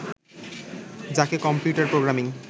যাঁকে computer programming